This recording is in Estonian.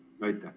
Aitäh!